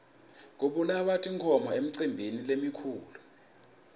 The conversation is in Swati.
kubulawa tinkhomo emicimbini lemikhulu